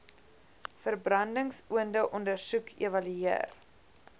verbrandingsoonde ondersoek evalueer